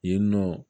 Yen nɔ